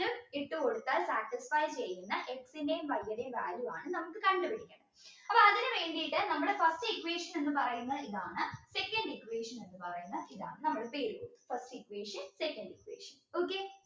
ഇട്ടുകൊടുത്താൽ satisfy ചെയ്യുന്ന X ൻറെയും Y ഉടെയു Value ആണ് നമുക്ക് കണ്ടുപിടിക്കേണ്ടത് അപ്പോ അതിനു വേണ്ടിയിട്ട് നമ്മൾ first equation എന്ന് പറയുന്ന ഇതാണ് second equation എന്ന് പറയുന്ന ഇതാണ് നമ്മൾ ഇപ്പോ എഴുതിയത് first equation second equation okay